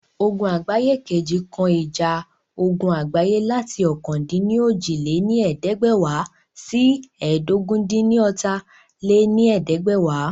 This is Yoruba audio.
Ogun Àgbáyé II kan ìjà ogun àgbáyé láti ọ̀kan-dín-ní-ojì lé ní ẹ̀ẹ́dẹ́gbẹ́wá sí ẹ́ẹdógún-dín-ní-ọ́ta lé ní ẹ̀ẹ́dẹ́gbẹ́wá